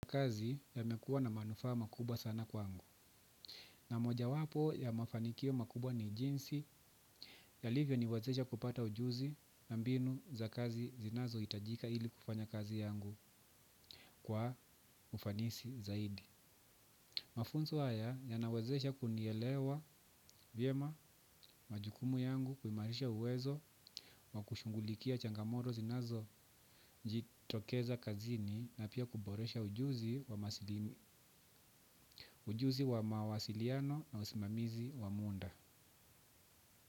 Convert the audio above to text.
Kazi yamekuwa na manufaa makubwa sana kwangu. Na moja wapo ya mafanikio makubwa ni jinsi yalivyo niwezesha kupata ujuzi na mbinu za kazi zinazo itajika ili kufanya kazi yangu kwa ufanisi zaidi. Mafunzo haya yanawezesha kunielewa vyema majukumu yangu kuimarisha uwezo wa kushungulikia changamoto zinazo jitokeza kazini na pia kuboresha ujuzi ujuzi wa mawasiliano na usimamizi wa muda.